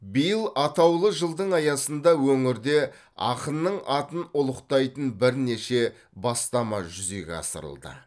биыл атаулы жылдың аясында өңірде ақынның атын ұлықтайтын бірнеше бастама жүзеге асырылды